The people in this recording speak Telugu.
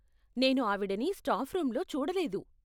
నేను ఆవిడని స్టాఫ్ రూంలో చూడలేదు.